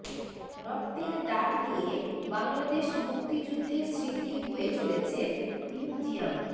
রক্তের দাগ নিয়ে বাংলাদেশ মুক্তিযুদ্ধের স্মৃতি বয়ে চলেছে মিউজিয়াম